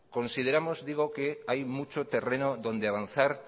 consideramos hay mucho terreno donde avanzar